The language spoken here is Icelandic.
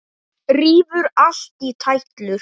Rífur allt í tætlur.